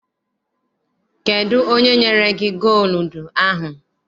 Kedụ onye nyere gị gooludu ahụ?